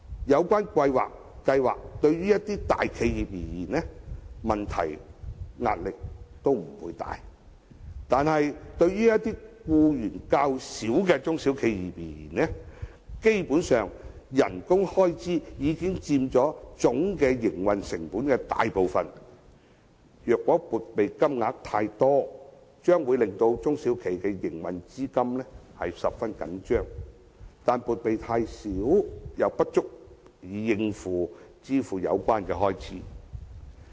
有關計劃對大企業而言，問題及壓力都不算大，但對僱員較少的中小企而言，基本上薪金開支已經佔其總營運成本的大部分，撥備金額太大，將會令中小企的營運資金十分緊絀，但撥備金額太小，又不足以應付有關開支。